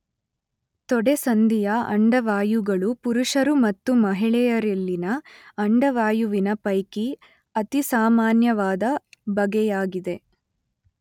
ತೊಡೆಸಂದಿಯ ಅಂಡವಾಯುಗಳು ಪುರುಷರು ಮತ್ತು ಮಹಿಳೆಯರಲ್ಲಿನ ಅಂಡವಾಯುವಿನ ಪೈಕಿ ಅತಿಸಾಮಾನ್ಯವಾದ ಬಗೆಯಾಗಿದೆ.